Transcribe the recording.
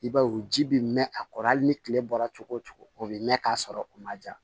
I b'a ye o ji bɛ mɛn a kɔrɔ hali ni tile bɔra cogo o cogo o bɛ mɛn k'a sɔrɔ u ma ja